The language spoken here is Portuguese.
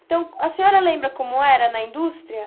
Então, a senhora lembra como era na indústria?